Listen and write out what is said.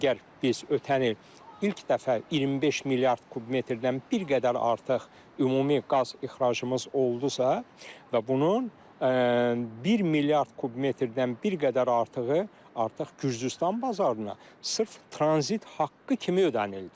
Əgər biz ötən il ilk dəfə 25 milyard kub metrdən bir qədər artıq ümumi qaz ixracımız oldusa və bunun 1 milyard kub metrdən bir qədər artığı artıq Gürcüstan bazarına sırf tranzit haqqı kimi ödənildi.